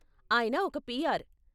ఆయన ఒక పీఆర్.